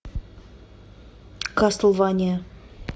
кастлвания